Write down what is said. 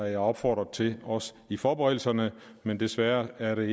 jeg opfordret til også i forberedelserne men desværre er det